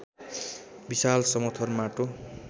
विशाल समथर माटो